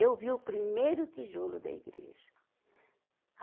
Eu vi o primeiro tijolo da igreja.